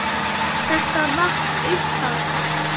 Þetta vatt upp á sig.